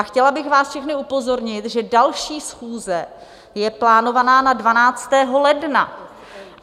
A chtěla bych vás všechny upozornit, že další schůze je plánovaná na 12. ledna.